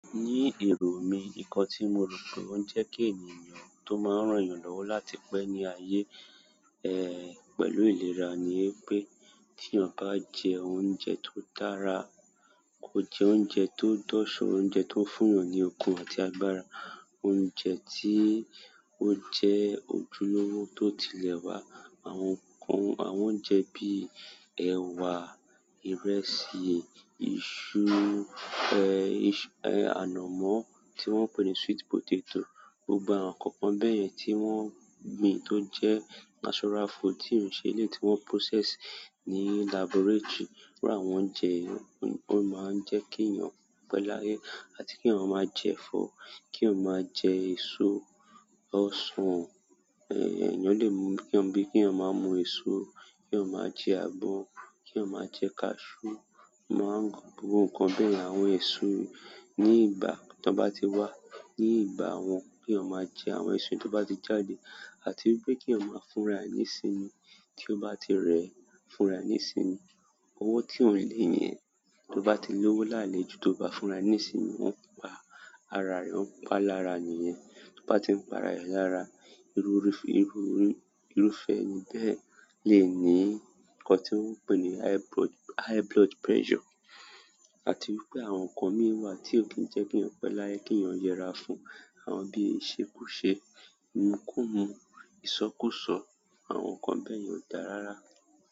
Ní èrò mí, ǹkan tí mo rò pé ó ń jẹ́ kí ènìyàn tó máa ń ràn yàn lọ́wọ́ láti pẹ́ ní ile ayé, pẹ̀lú ìlera ni pé tí èeyàn bá jẹ oúnjẹ tó dára, kò jẹ oúnjẹ tó dọ̀so, oúnjẹ tó ń fún yan ní okun àti agbára, oúnjẹ tí ó jẹ́ ojúlówó tó ti lẹ̀ wá, àwọn ǹkan, àwọn oúnjẹ bíi ẹ̀wa, ìrẹsì, iṣu iṣu, ànàmọ́ tí wọ́n ń pè ní sweet potato, gbogbo àwọn ǹkankan bẹ́ẹ̀ yẹn tí wọ́n gbin tó jẹ́ natural food tí ò ń ṣe lè tí wọ́n process ní laboratory, iru àwọn oúnjẹ yi, ó máa ń jẹ́ kí yàn pé láyé. Àti keeyan ma je ẹ̀fọ́, keeyan ma je eso, osan, eeyan le mu bi keeyan ma mu eso, keeyan ma je agbon, keeyan ma je cashew àwọn nkan beeyan. Àwọn eso ni ìgbà tan ba ti wa, ni ìgbà won. Kí wọ́n máa jẹ àwọn èso tan bá ti jáde àti wípé kí eeyan máa fúnra e ní sinmi, tí ó bá ti rẹ́ fúnra e, ní sinmi. Owó tí ò ń lé yẹn, tí ó bá ti lówó lálé ju tí o bá fúnra nísinu, ó ń pa ara rẹ, ó ń pa ara è lára niyen. Tí ó bá ti ń pa ara rẹ lára, irú fe irúfẹ́ ẹni bẹ́ẹ̀ lè ní nkan tí wọ́n ń pè ní high blood, high blood pressure. Àti wípé àwọn ǹkan mí wà tí ó kì ń pẹ́ laye, keeyàn yẹra fún, àwọn bíi ìṣekúṣe, ìmúkúmú, ìsọkúsàn, àwọn ǹkan bẹ́ẹ̀ yẹn ò dára rárá.